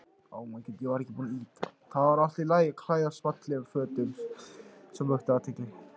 Það var allt í lagi að klæðast fallegum fötum sem vöktu athygli.